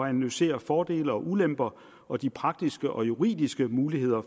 at analysere fordele og ulemper og de praktiske og juridiske muligheder